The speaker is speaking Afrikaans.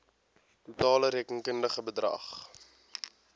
totale rekenkundige bedrag